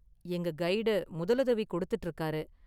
எங்க கைடு முதலுதவி கொடுத்துட்டு இருக்காரு .